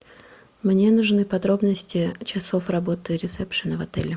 мне нужны подробности часов работы ресепшена в отеле